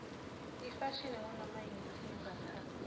ifashini ngunomayini lesiyimbatsalo